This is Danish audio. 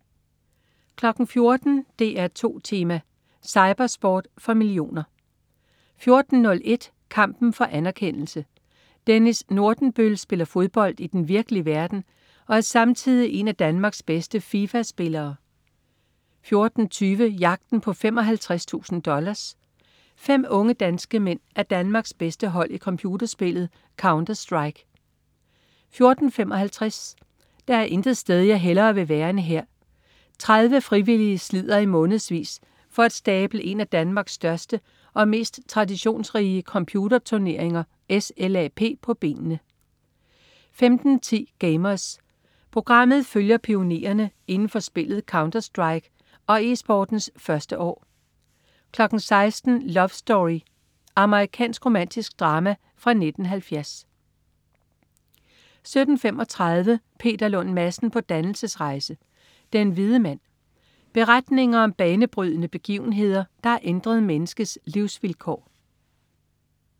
14.00 DR2 Tema: Cypersport for millioner 14.01 Kampen for anerkendelse. Dennis Nordenbøl spiller fodbold i den virkelige verden, og er samtidig en af Danmarks bedste Fifa-spillere 14.20 Jagten på 55.000 dollars. Fem unge danske mænd er Danmarks bedste hold i computerspillet "Counterstrike" 14.55 Der er intet sted jeg hellere vil være end her. 30 frivillige slider i månedsvis for at stable en af Danmarks største og mest traditionsrige computerturneringer, SLAP, på benene 15.10 Gamers. Programmet følger pionererne inden for spillet "Counterstrike" og eSportens første år 16.00 Love Story. Amerikansk romantisk drama fra 1970 17.35 Peter Lund Madsen på dannelsesrejse. Den hvide mand. Beretninger om banebrydende begivenheder, der har ændret menneskets livsvilkår